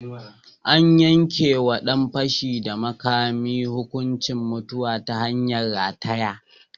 An yanke wa ɗan fashi da makami hukuncin mutuwa ta hanyar rataye.